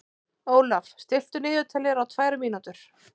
Ólaf, stilltu niðurteljara á tvær mínútur.